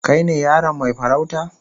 Kai ne yaron mai farauta?